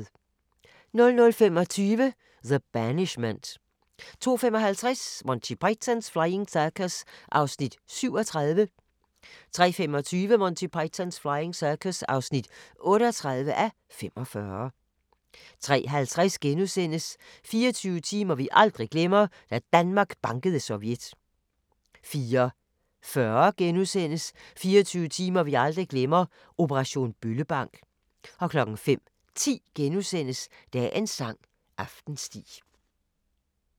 00:25: The Banishment 02:55: Monty Python's Flying Circus (37:45) 03:25: Monty Python's Flying Circus (38:45) 03:50: 24 timer vi aldrig glemmer – Da Danmark bankede Sovjet * 04:40: 24 timer vi aldrig glemmer – operation Bøllebank * 05:10: Dagens sang: Aftensti *